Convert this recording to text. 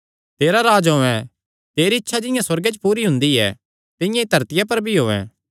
तेरा राज्ज औयें तेरी इच्छा जिंआं सुअर्गे च पूरी हुंदी ऐ तिंआं ई धरतिया पर भी होयैं